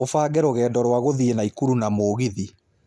ũbange rũgendo rwa gũthiĩ naikũrũ na mũgĩthĩ